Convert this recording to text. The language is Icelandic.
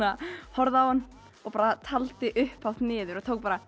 horfði á hann og taldi upphátt niður